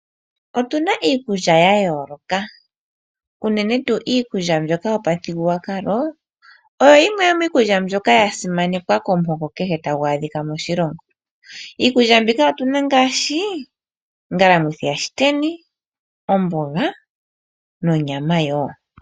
Otuna iikulya ya yooloka, uunene tuu iikulya mbyoka yopamuthigululwakalo oyo yimwe yomiikulya mbyoka ya simanekwa komuhoka kehe tagu adhika moshilongo. Iikulya mbika otuna ngaashi ongalamwithi yaShiteni, omboga nonyama wo.